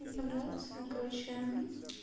им понравилось она короче